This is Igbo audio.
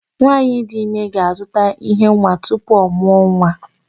Nwaanyị dị ime ga-azụta íhé nwa tupu ọ mụọ nwa.